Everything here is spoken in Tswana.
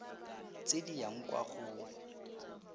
tse di yang kwa go